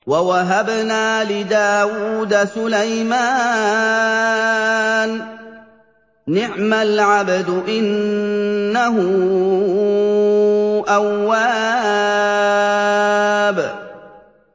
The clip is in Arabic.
وَوَهَبْنَا لِدَاوُودَ سُلَيْمَانَ ۚ نِعْمَ الْعَبْدُ ۖ إِنَّهُ أَوَّابٌ